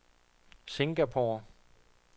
Singapore